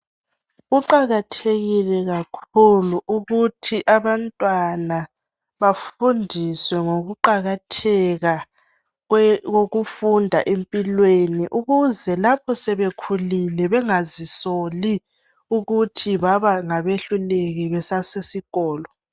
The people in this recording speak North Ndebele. kuqakathekile kakhulu ukuthi abantwana bafundiswe ngokuqakatheka kokufunda empilweni ukuze lapho sebekhulile bengaze bazisoli ukuthi bengaba ngabehluleki besasikolo